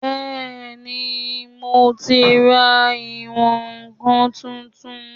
Bẹ́ẹ̀ni, mo ti ra ìwọ̀n-ǹkan tuntun